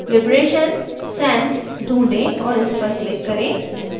liberation sans ढूंढ़ें और इस पर click करें